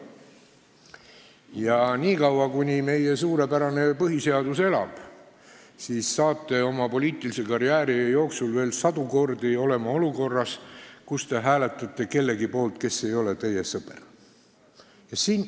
Ja niikaua, kuni meie suurepärane põhiseadus elab, satute te oma poliitilise karjääri jooksul veel sadu kordi olukorda, kus te hääletate kellegi poolt, kes ei ole teie sõber.